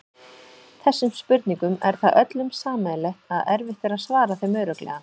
Þessum spurningum er það öllum sameiginlegt að erfitt er að svara þeim örugglega.